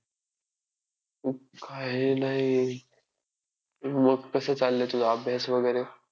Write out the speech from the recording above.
काही नाही मग कसं चाललंय तुझा अभ्यास वगैरे?